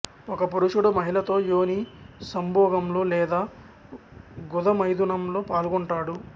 ఒక పురుషుడు మహిళతో యోని సంభోగంలో లేదా గుద మైథునంలో పాల్గొంటాడు